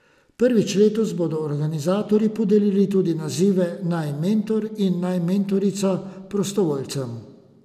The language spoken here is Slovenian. Prvič letos bodo organizatorji podelili tudi nazive Naj mentor in Naj mentorica prostovoljcev.